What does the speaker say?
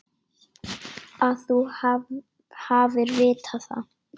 Að þú hafir vitað það.